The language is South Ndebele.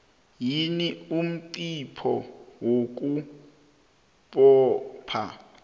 yini umnqopho wokubopha